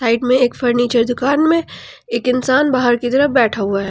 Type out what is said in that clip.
एक में एक फर्नीचर दुकान में एक इंसान बाहर की तरफ बैठा हुआ है।